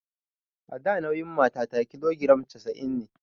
A da nauyin matata kilogiram casa'in ne